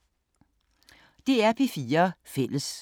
DR P4 Fælles